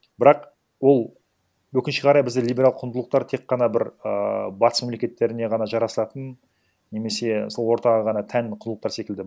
бірақ ол өкінішке қарай бізде либералдық құндылықтар тек қана бір ыыы батыс мемлекеттеріне ғана жарасатын немесе сол ортаға ғана тән құндылықтар секілді